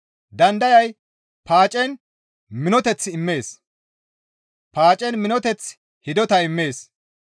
Dandayay paacen minoteth immees; paacen minoteththi hidota immees.